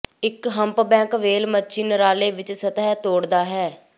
ਇੱਕ humpback whale ਮੱਛੀ Norway ਵਿੱਚ ਸਤਹ ਤੋੜਦਾ ਹੈ